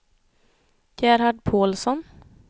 Gerhard Paulsson